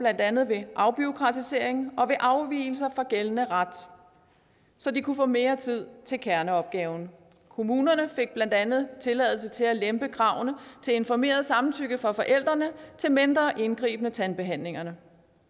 andet ved afbureaukratisering og ved afvigelser fra gældende ret så de kunne få mere tid til kerneopgaven kommunerne fik blandt andet tilladelse til at lempe kravene til informeret samtykke fra forældrene til mindre indgribende tandbehandlinger